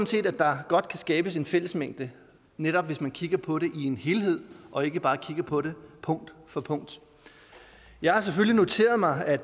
set at der godt kan skabes en fællesmængde netop hvis man kigger på det i en helhed og ikke bare kigger på det punkt for punkt jeg har selvfølgelig noteret mig at